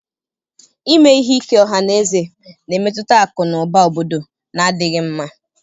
Ime ihe ike ọha na eze na-emetụta akụ na ụba obodo na-adịghị mma.